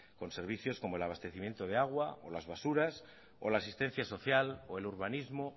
con servicios como el abastecimiento de agua o las basuras o la asistencia social o el urbanismo